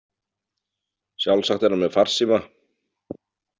Sjálfsagt er hann með farsíma.